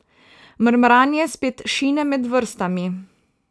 Mrmranje spet šine med vrstami.